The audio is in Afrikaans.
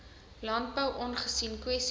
landbou aangesien kwessies